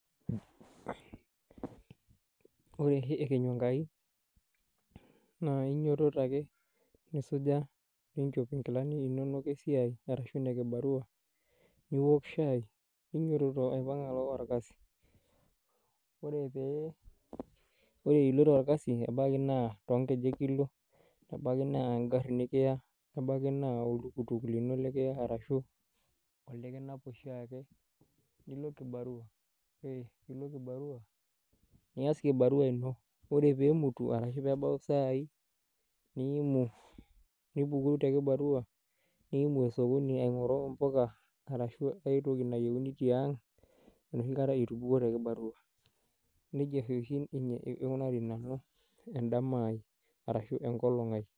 Wore oshi ekenyu enkai, naa kainyiototo ake, nisuja, niinchop inkilani inonok esiai arashu inekibarua , niwok chai, ninyietoto aipang alo orkasi. Wore iloito orkasi, ebaiki naa toonkejek ilo, nebaki naa enkari nikiya, nebaki naa oltuktuk lino likiya arashu olikinap oshiake. Nilo kibarua, nias kibarua ino. Wore pee emutu arashu peebau isai, niimu, nipuku te kibarua niimu osokoni aingorru impuka arashu aitoki nayieuni tiang, enoshikata itupukuo te kibarua. Nejia oshia ikunari nanu endama ai arashu enkolong' ai.